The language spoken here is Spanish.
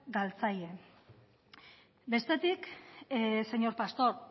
galtzaile bestetik señor pastor